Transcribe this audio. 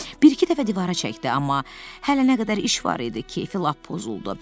Bir-iki dəfə divara çəkdi, amma hələ nə qədər iş var idi, keyfi lap pozuldu.